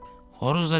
Xoruz da dedi.